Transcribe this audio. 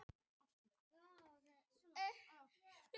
Sprengjutilræði í baðhúsi